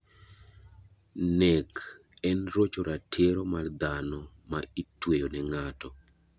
Nek en rocho ratiro mar dhano ma itweyo ne ngato.